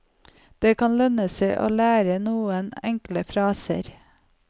Det kan lønne seg å lære noen enkle fraser.